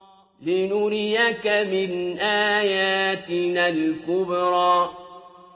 لِنُرِيَكَ مِنْ آيَاتِنَا الْكُبْرَى